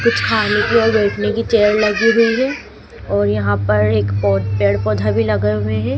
कुछ खाली जगह बैठने की चेयर लगी हुई है और यहां पर एक पौ पेड़ पौधा भी लगे हुए हैं।